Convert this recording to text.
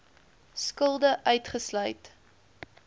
skulde uitgesluit